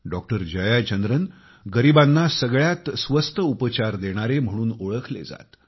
doctor Jayachandran गरिबांना सगळ्यात स्वस्त उपचार देणारे म्हणून ओळखले जात